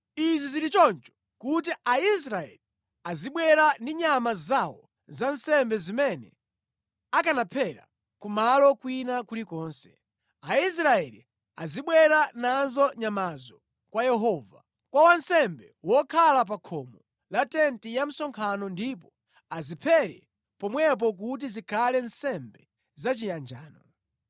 Izi zili choncho kuti Aisraeli azibwera ndi nyama zawo za nsembe zimene akanaphera ku malo kwina kulikonse. Aisraeli azibwera nazo nyamazo kwa Yehova, kwa wansembe wokhala pa khomo la tenti ya msonkhano ndipo aziphere pomwepo kuti zikhale nsembe za chiyanjano.